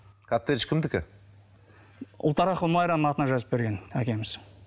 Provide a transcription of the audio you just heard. коттедж кімдікі ұлтарақова майраның атына жазып берген әкеміз